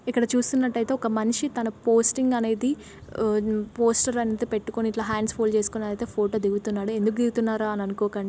ఇక్కడ చూస్తున్నట్టయితే ఒక మనిషి తన పోస్టింగ్ అనేది ఆ పోస్టర్ అనయితే పెట్టుకొని ఇట్లా హ్యాండ్స్ ఫోల్డ్ చేసుకుని అదైతే ఫోటో దిగుతున్నాడు ఎందుకు దిగుతున్నారా అని అనుకోకండి--